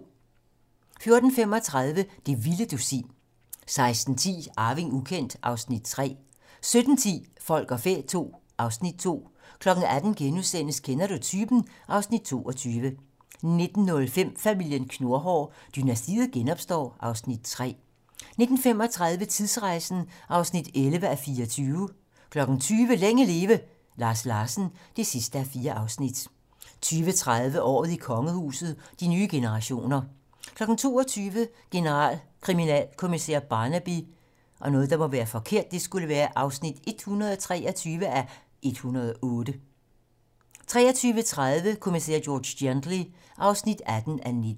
14:35: Det vilde dusin 16:10: Arving ukendt (Afs. 3) 17:10: Folk og fæ II (Afs. 2) 18:00: Kender du typen? (Afs. 22)* 19:05: Familien Knurhår: Dynastiet genopstår (Afs. 3) 19:35: Tidsrejsen (11:24) 20:00: Længe leve - Lars Larsen (4:4) 20:30: Året i kongehuset: De nye generationer 22:00: Kriminalkommissær Barnaby (123:108) 23:30: Kommissær George Gently (18:19)